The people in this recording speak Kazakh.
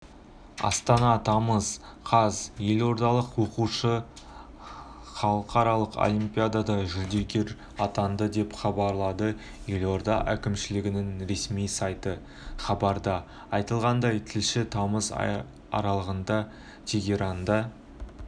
астана тамыз қаз елордалық оқушы іалықаралық олимпиада жүлдегері атанды деп хабарлады елорда әкімшілігінің ресми сайты хабарда айтылғандай шілде тамыз аралығында тегеранда